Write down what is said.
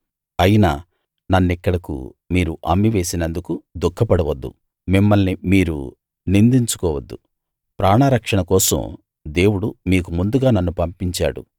అయినా నన్నిక్కడకు మీరు అమ్మేసినందుకు దుఃఖపడవద్దు మిమ్మల్ని మీరు నిందించుకోవద్దు ప్రాణరక్షణ కోసం దేవుడు మీకు ముందుగా నన్ను పంపించాడు